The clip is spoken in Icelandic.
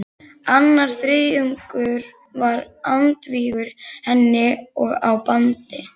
Annar þriðjungur var andvígur henni og á bandi